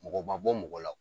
Mɔgɔ ma bɔ mɔgɔ la